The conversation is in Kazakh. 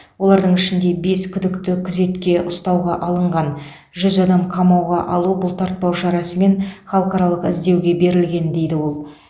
олардың ішінде бес күдікті күзетке ұстауға алынған жүз адам қамауға алу бұлтартпау шарасымен халықаралық іздеуге берілген дейді ол